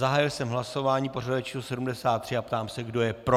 Zahájil jsem hlasování pořadové číslo 73 a ptám se, kdo je pro.